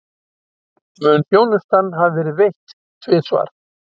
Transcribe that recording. Mun þjónustan hafa verið veitt tvisvar